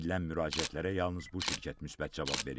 Edilən müraciətlərə yalnız bu şirkət müsbət cavab verib.